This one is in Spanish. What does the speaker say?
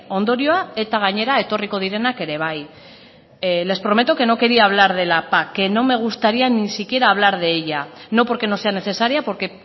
ondorioa eta gainera etorriko direnak ere bai les prometo que no quería hablar de la pac que no me gustaría ni siquiera hablar de ella no porque no sea necesaria porque